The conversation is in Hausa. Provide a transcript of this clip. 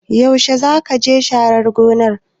Yaushe zakaje sharar gonar?